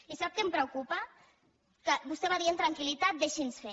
i sap què em preocupa que vostè va dient tranquillitat deixin nos fer